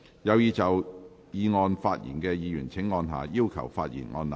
有意就議案發言的議員請按下"要求發言"按鈕。